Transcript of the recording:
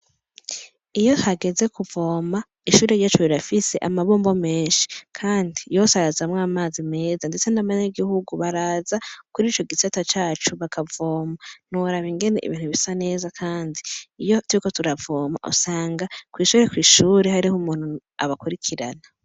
Iyo hageze kuvoma ishure ryacu rirafise amabombo menshi kandi yose arazamwo amazi meza ndetse n' abanyagihugu baraza kuri ico gisata bakavoma ntiworaba ingene ibintu bisa neza kandi iyo turiko turavoma usanga kwishure kwishure hariho umuntu abakurikirana.